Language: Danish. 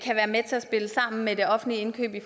kan være med til at spille sammen med det offentlige indkøb med